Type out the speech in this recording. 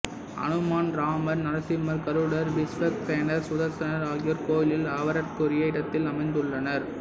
அனுமான் ராமர் நரசிம்மர் கருடர் விஸ்வக்சேனர் சுதர்சனர் ஆகியோர் கோயிலில் அவரவர்க்குரிய இடத்தில் அமர்ந்துள்ளனர்